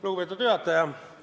Lugupeetud juhataja!